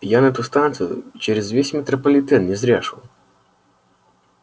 я на эту станцию через весь метрополитен не зря шёл